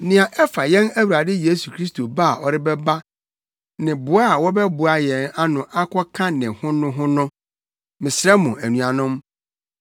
Nea ɛfa yɛn Awurade Yesu Kristo ba a ɔrebɛba ne boa a wɔbɛboaboa yɛn ano akɔka ne ho no ho no, mesrɛ mo anuanom,